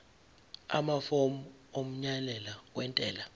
amafomu omyalelo wentela